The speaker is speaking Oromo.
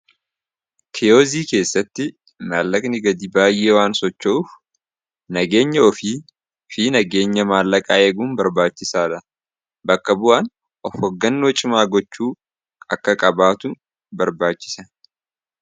Kiyozii keessatti maallakni gadi baay'ee waan sochouuf nageenya ofii fi nageenya maallaqaa eguun barbaachisaa dha bakka bu'aan of hoggannoo cimaa gochuu akka qabaatu barbaachisa.